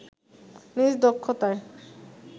নিজ দক্ষতায়